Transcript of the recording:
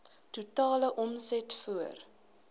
totale omset voor